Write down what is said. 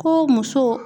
Ko muso